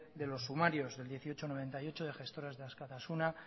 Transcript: de los sumarios del dieciocho barra noventa y ocho de gestoras de askatasuna